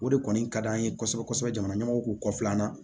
O de kɔni ka di an ye kosɛbɛ kosɛbɛ jamana ɲɛmɔw k'u kɔfilan na